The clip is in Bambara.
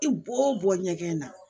I bɔ o bɔ ɲɛgɛn na